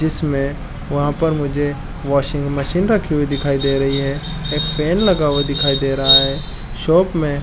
जिसमे वहाँ पर मुझे वाशिंग मशीन रखी हुई दिखाई दे रही है एक फैन लगा हुआ दिखाई दे रहा है शॉप में--